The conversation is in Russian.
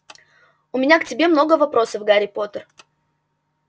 у меня к тебе много вопросов гарри поттер